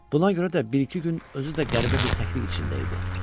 Buna görə də bir-iki gün özü də qəribə bir təklik içində idi.